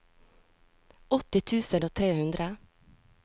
åtti tusen og tre hundre